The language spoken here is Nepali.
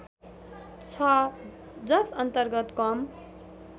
छ जसअन्तर्गत कम